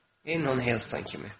Eynən Heston kimi.